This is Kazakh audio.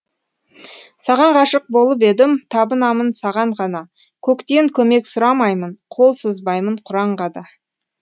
саған ғашық болып едім табынамын саған ғана көктен көмек сұрамаймын қол созбаймын құранға да